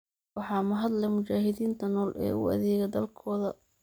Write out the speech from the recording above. Waxaa mahad leh mujaahidiinta nool ee u adeega dalkooda.